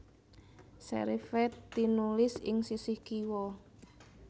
Serif é tinulis ing sisih kiwa